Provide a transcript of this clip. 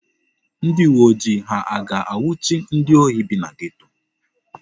Ndị uwe ojii ha a ga-anwụchi ndị ohi bi na geto?